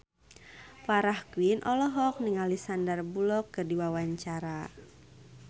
Farah Quinn olohok ningali Sandar Bullock keur diwawancara